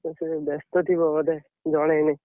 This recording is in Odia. ସେ ବେସ୍ତ ଥିବ ବୋଧେ, ଜଣେଇନି।